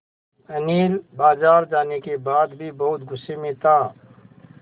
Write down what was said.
अनिल बाज़ार जाने के बाद भी बहुत गु़स्से में था